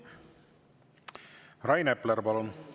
Rain Epler, palun!